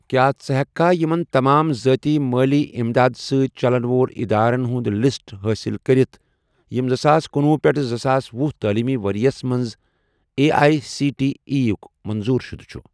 کیٛاہ ژٕ ہیٚککھا یِمَن تمام ذٲتی مٲلی اِمداد سٟتؠ چَلن وول ادارن ہُنٛد لسٹ حٲصِل کٔرتھ یِم زٕساس کنۄہُ پیٹھ زٕساس وُہ تعلیٖمی ورۍ یَس مَنٛز A I C T E یٕک منظوٗر شُدٕ چُھ؟